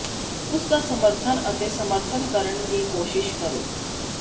ਉਸ ਦਾ ਸਮਰਥਨ ਅਤੇ ਸਮਰਥਨ ਕਰਨ ਦੀ ਕੋਸ਼ਿਸ਼ ਕਰੋ